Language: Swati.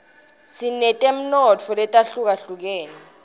sinetemnotfo letihlukahlukene